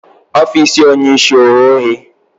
Ofiisi onye isi o ghe oghe?